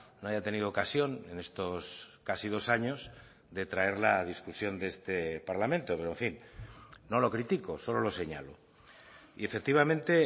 no haya tenido ocasión en estos casi dos años de traerla a discusión de este parlamento pero en fin no lo critico solo lo señalo y efectivamente